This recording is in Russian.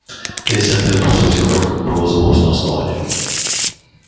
пятьдесят лет прошло с тех пор как было заложено основание